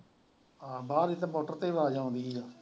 ਹਾਂ ਬਾਹਰ ਇੱਥੇ ਆ ਜਾਂਦੀ ਹੈ।